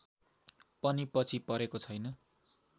पनि पछि परेको छैन